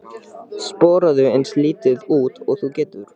Sporaðu eins lítið út og þú getur.